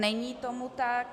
Není tomu tak.